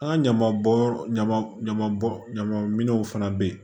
An ka ɲaman bɔn yɔrɔ ɲama ɲama bɔ ɲama minɛnw fana bɛ yen